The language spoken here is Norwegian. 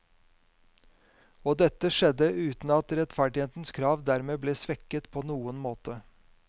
Og dette skjedde uten at rettferdighetens krav derved ble svekket på noen måte.